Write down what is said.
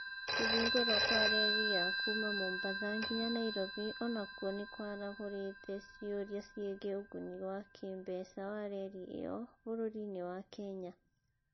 Kũhingũrwo kwa reri ya kuuma Mombasa nginya Nairobi o nakuo nĩ kiarahũrite ciũria ciĩgiĩ ũguni wa kĩĩmbeca wa reri ĩyo bũrũri-inĩ wa Kenya